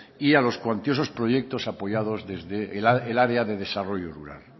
y a los cuantiosos proyectos apoyados desde el área de desarrollo rural